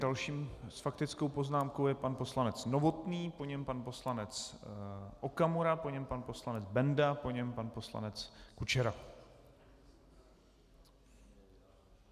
Dalším s faktickou poznámkou je pan poslanec Novotný, po něm pan poslanec Okamura, po něm pan poslanec Benda, po něm pan poslanec Kučera.